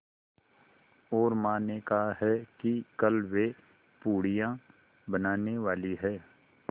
और माँ ने कहा है कि कल वे पूड़ियाँ बनाने वाली हैं